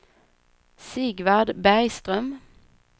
Sigvard Bergström